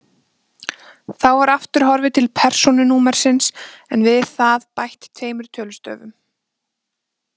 Þá var aftur horfið til persónunúmersins en við það bætt tveimur tölustöfum.